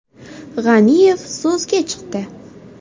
G‘aniyev so‘zga chiqdi.